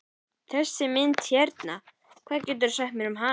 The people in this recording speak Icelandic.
Þessi mynd hérna, hvað geturðu sagt mér um hana?